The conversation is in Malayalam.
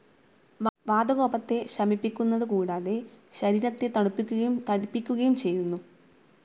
വാതകോപത്തെ ശമിപ്പിക്കുന്നതു കൂടാതെ, ശരീരത്തെ തണുപ്പിക്കുകയും തടിപ്പിക്കുകയു ചെയ്യുന്നു.